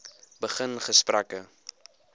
begin gesprekke